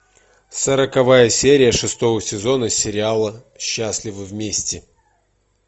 сороковая серия шестого сезона сериала счастливы вместе